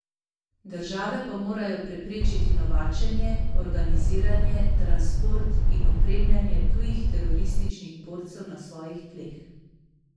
Države pa morajo preprečiti novačenje, organiziranje, transport in opremljanje tujih terorističnih borcev na svojih tleh.